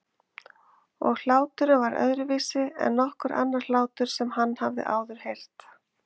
Og hláturinn var öðruvísi en nokkur annar hlátur sem hann hafði áður heyrt.